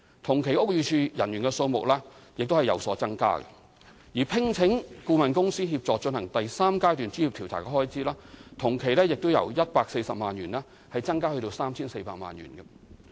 同期屋宇署人員的數目亦有所增加，而聘請顧問公司協助進行第三階段專業調查的開支，亦由140萬元增至 3,400 萬元。